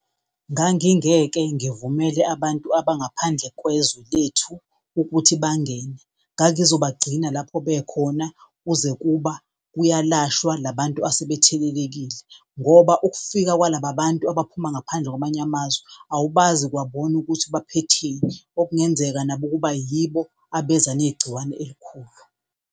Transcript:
Ngangingeke ngivumele abantu abangaphandle kwezwe lethu ukuthi bangene ngangizobagcina lapho bekhona kuze kuba kuyalashwa la bantu asebethelelekile ngoba ukufika kwalaba abantu abaphuma ngaphandle kwamanye amazwe awubazi kwabona ukuthi baphetheni, okungenzeka nabo ukuba yibo abeze negciwane elikhulu.